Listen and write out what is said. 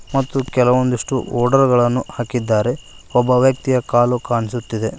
ಮತ್ತು ಕೆಲವೊಂದಿಷ್ಟು ಒಡರ್ ಗಳನ್ನು ಹಾಕಿದ್ದಾರೆ ಒಬ್ಬ ವ್ಯಕ್ತಿಯ ಕಾಲು ಕಾಣ್ಸುತ್ತಿದೆ.